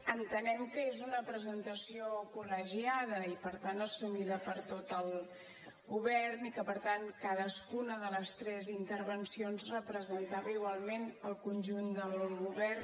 entenem que és una presentació col·legiada i per tant assumida per tot el govern i que per tant cadascuna de les tres intervencions representava igualment el conjunt del govern